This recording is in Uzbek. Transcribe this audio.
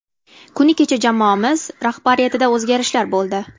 Kuni kecha jamoamiz rahbariyatida o‘zgarishlar bo‘ldi.